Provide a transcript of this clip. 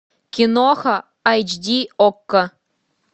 киноха айч ди окко